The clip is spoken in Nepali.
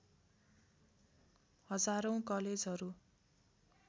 हजारौँ कलेजहरू